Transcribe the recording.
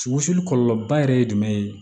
kɔlɔlɔ ba yɛrɛ ye jumɛn ye